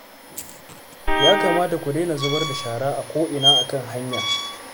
Ya kamata ku daina zubar da shara ko'ina a kan hanya